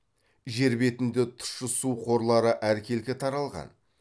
жер бетінде тұщы су қорлары әркелкі таралған